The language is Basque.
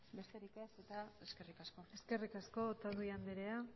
besterik ez eta eskerrik asko eskerrik asko otadui andrea